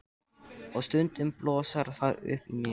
Og stundum blossar það upp í mér.